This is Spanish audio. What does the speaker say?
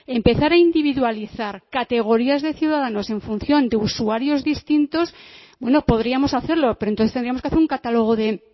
empezar a individualizar categorías de ciudadanos en función de usuarios distintos bueno podríamos hacerlo pero entonces tendríamos que hacer un catálogo de